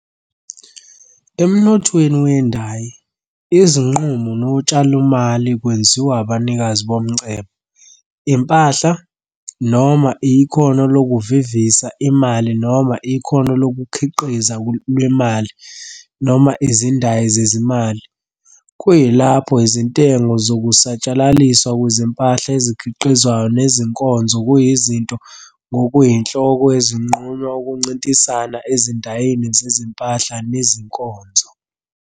Emnothweni wendayi, izinqumo notshalomali kwenziwa abanikazi bomcebo, impahla, noma ikhono lokuvivisa imali noma ikhono lokukhiqiza lwemali noma izindayi zezimali, kuyilapho izintengo nokusatshalaliswa kwezimpahla ezikhiqizwayo nezinkonzo kuyizinto ngokuyinhloko ezinqunywa ukuncintisana ezindayini zezimpahla nezinkonzo.